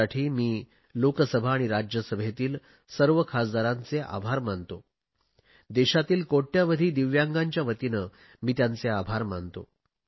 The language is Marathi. त्यासाठी मी लोकसभा आणि राज्यसभेतील सर्व खासदारांचे आभार मानतो देशातील कोट्यवधी दिव्यांगांच्या वतीने मी त्यांचे आभार मानतो